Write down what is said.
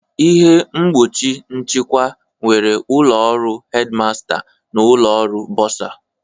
Ihe mgbochi nchịkwa nwere ụlọ ọrụ Headmaster na ụlọ ọrụ bursar